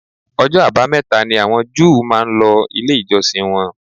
Ọjọ́ àbámẹ̀ta ni àwọn Júù máa ń lọ ilé ìjọsìn wọn